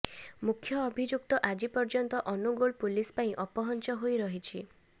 ମୁଖ୍ୟ ଅଭିଯୁକ୍ତ ଆଜି ପର୍ଯ୍ୟନ୍ତ ଅନୁଗୁଳ ପୁଲିସ ପାଇଁ ଅପହଞ୍ଚ ହୋଇ ରହିଛି